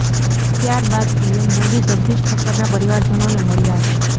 ત્યાર બાદ પીએમ મોદી જગદીશ ઠક્કરના પરિવારજનોને મળ્યા હતા